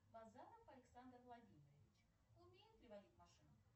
базанов александр владимирович умеет ли водить машину